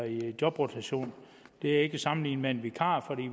i jobrotation det er ikke at sammenligne med en vikar for